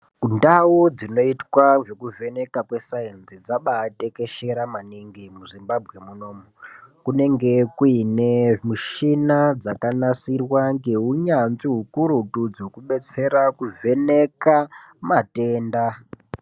Ndau dzinoitwa zvekuvheneka kwesainzi dzabai tekeshera maningi muZimbabwe munomu kunenge kuine mishina dzakanasirwa ngeunyanzvi ukurutu dzokubetsera kuvheneka matenda.